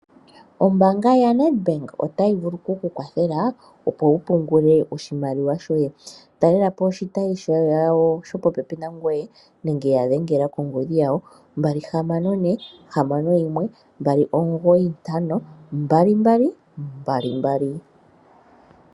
Ombaanga yaNedBank otayi vulu okukukwathela opo wu pungule oshimaliwa shoye. Talela po oshitayi shayo shopopepi nangoye nenge ya dhengela kongodhi yawo +264612952222.